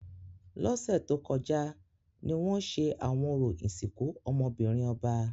Lọsẹ to kọja ni wọn ṣe awọn orȯ isinku ọmọ-binrin ọba.